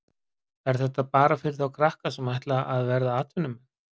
Er þetta bara fyrir þá krakka sem ætla að verða atvinnumenn?